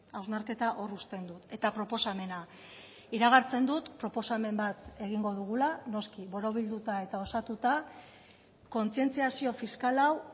hausnarketa hor uzten dut eta proposamena iragartzen dut proposamen bat egingo dugula noski borobilduta eta osatuta kontzientziazio fiskal hau